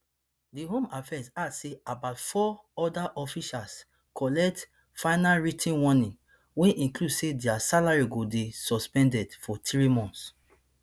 di home affairs add say about four oda officials collect final writ ten warnings wey include say dia salary go dey suspended for three months